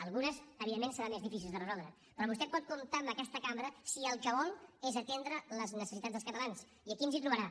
algunes evidentment seran més difícils de resoldre però vostè pot comptar amb aquesta cambra si el que vol és atendre les necessitats dels catalans i aquí ens hi trobarà